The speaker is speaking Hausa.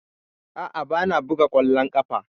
A'a, ba na buga ƙwallon ƙafa.